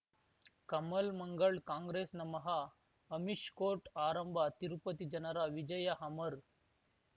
ಕಮಲ್ ಮಂಗಳ್ ಕಾಂಗ್ರೆಸ್ ನಮಃ ಅಮಿಷ್ ಕೋರ್ಟ್ ಆರಂಭ ತಿರುಪತಿ ಜನರ ವಿಜಯ ಅಮರ್